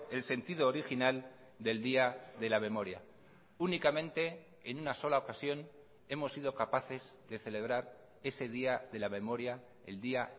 el sentido original del día de la memoria únicamente en una sola ocasión hemos sido capaces de celebrar ese día de la memoria el día